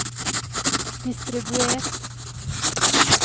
distribuer